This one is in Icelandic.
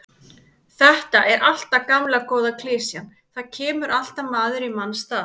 Þetta er alltaf gamla góða klisjan, það kemur alltaf maður í manns stað.